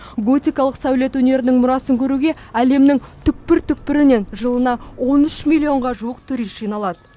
готикалық сәулет өнерінің мұрасын көруге әлемнің түкпір түкпірінен жылына он үш миллионға жуық турист жиналады